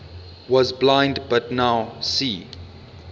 was blind but now see